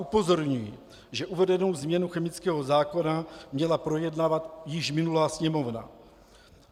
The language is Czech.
Upozorňuji, že uvedenou změnu chemického zákona měla projednávat již minulá Sněmovna.